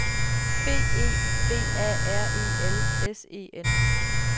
B E V A R E L S E N